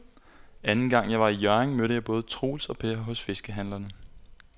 Anden gang jeg var i Hjørring, mødte jeg både Troels og Per hos fiskehandlerne.